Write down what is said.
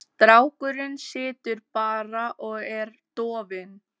Strákurinn situr bara og er dofinn.